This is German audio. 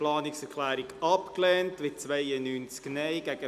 GSchV. Art. 41c, Abs. 4bis ist zu berücksichtigen